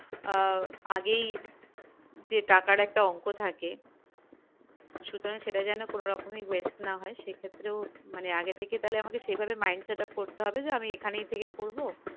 আহ আগেই যে টাকার একটা অংক থাকে সুতরাং সেটা যেন কোনরকমই waste না হয় সেক্ষেত্রেও মানে আগে থেকে তালে আমাকে mind setup করতে হবে যে আমি এখানের থেকেই করবো